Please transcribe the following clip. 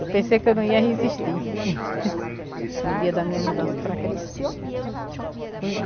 Eu pensei que eu não ia resistir no dia da minha mudança para aqui. Lembra?